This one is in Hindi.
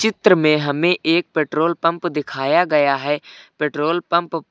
चीत्र में हमें एक पेट्रोल पंप दिखाया गया है पेट्रोल पंप --